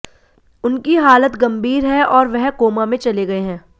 उनकी हालत गंभीर है और वह कोमा में चले गए हैं